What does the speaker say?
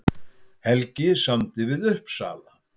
Helgi samdi við Uppsala